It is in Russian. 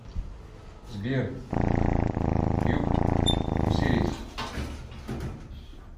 сбер юк осирис